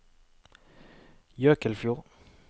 Jøkelfjord